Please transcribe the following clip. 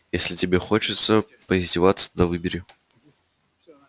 если тебе хочется поиздеваться тогда выбери